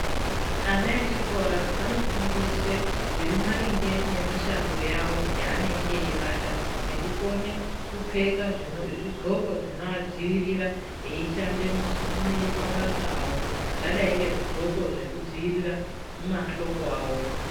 Ana echikora anofundiswe zviri maringe nemishando yawo yaanenge eibata ,nekukone kupfeka zvidhxoko zvinoadziirira eishande mimabasa awo zvakadai ndezvidhxoko zvekudziirira mahloko awo.